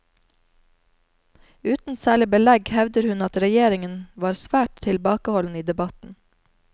Uten særlig belegg hevder hun at regjeringen var svært tilbakeholden i debatten.